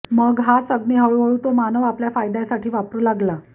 मग हाच अग्नी हळूहळू तो मानव आपल्या फायद्यासाठी वापरू लागला